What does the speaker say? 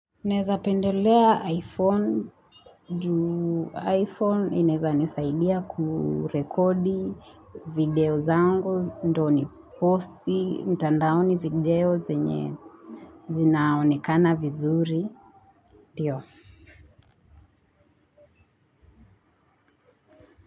Neza pendelea iPhone, juu iPhone inaeza nisaidia kurekodi video zangu, ndyo niposti, mtandaoni video zenye zinaonekana vizuri, ndiyo.